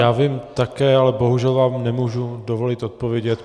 Já vím také, ale bohužel vám nemůžu dovolit odpovědět.